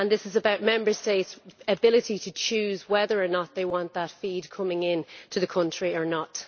This is about Member States' ability to choose whether or not they want that feed coming into their country or not.